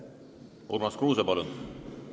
Urmas Kruuse, palun!